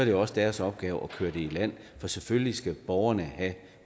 jo også deres opgave at køre det i land for selvfølgelig skal borgerne have